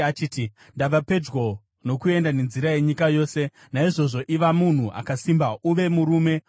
achiti, “Ndava pedyo nokuenda nenzira yenyika yose. Naizvozvo iva munhu akasimba, uve murume,